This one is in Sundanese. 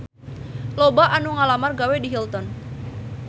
Loba anu ngalamar gawe ka Hilton